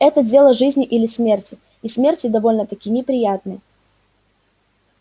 это дело жизни или смерти и смерти довольно-таки неприятной